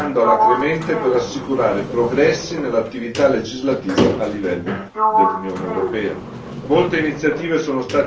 La Presidenza italiana sta lavorando alacremente per assicurare progressi nell'attività legislativa a livello dell'Unione europea.